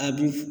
A bi